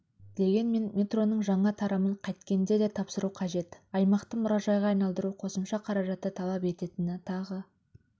дегенмен метроның жаңа тарамын қайткенде де тапсыру қажет аймақты мұражайға айналдыру қосымша қаражатты талап ететіні тағы